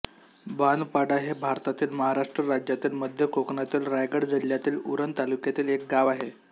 बांधपाडा हे भारतातील महाराष्ट्र राज्यातील मध्य कोकणातील रायगड जिल्ह्यातील उरण तालुक्यातील एक गाव आहे